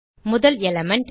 முதல் எலிமெண்ட்